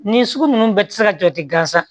Nin sugu ninnu bɛɛ tɛ se ka jɔ tɛ gansan